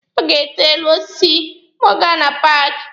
Ọ ga-ete elu osisi ma ọ gaa na paaki.